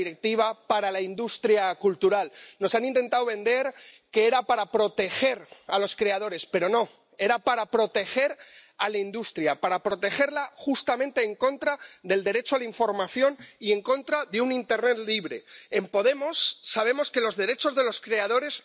via the Articles 11 and 13. It is an awful situation when a number of fellow United Kingdom MEPs voted to support a directive which will penalise a thriving industry base and sector in the United Kingdom Brexit immaterial in this situation and they ought to be ashamed.